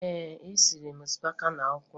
Ee, esiri m osikapa na akwụkwọ nri